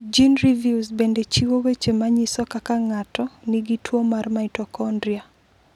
GeneReviews bende chiwo weche ma nyiso kaka ng’ato nigi tuwo mar mitokondria.